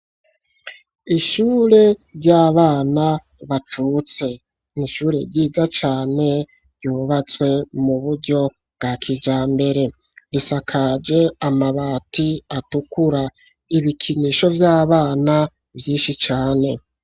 Ishure ry'abana bacutse, ni ishure ryiza cane, ryubatswe mu buryo bwa kijambere, risakaje amabati atukura, ibikinisho vy'abana vyishi cane.